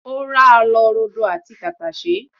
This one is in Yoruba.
O ra lọ ata rodo àti tàtàṣẹ́